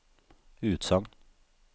utsagn